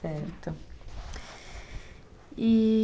Certo. E...